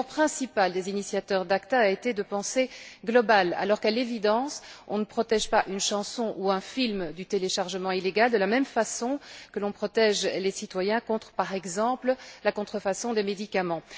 Mais l'erreur principale des initiateurs de l'ACTA a été de penser global alors, qu'à l'évidence, on ne protège pas une chanson ou un film contre le téléchargement illégal de la même façon que l'on protège les citoyens contre, par exemple, la contrefaçon des médicaments.